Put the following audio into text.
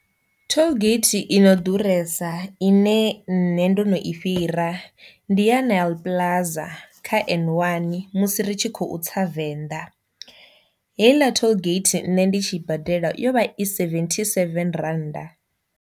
Tollgate i no ḓuresa ine nṋe ndo no i fhira ndi ya Nyl plaza kha N one musi ritshi kho tsa Venḓa, heiḽa tollgate nṋe ndi tshi badela yo vha i seventhi seven rannda.